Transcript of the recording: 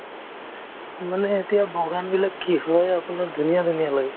মানে এতিয়া বাগান বিলাক কি হয় আপোনাৰ ধুনীয়া ধুনীয়া লাগে